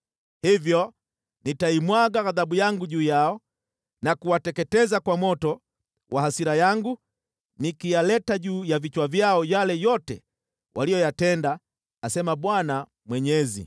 Hivyo nitaimwaga ghadhabu yangu juu yao na kuwateketeza kwa moto wa hasira yangu, nikiyaleta juu ya vichwa vyao yale yote waliyotenda, asema Bwana Mwenyezi.”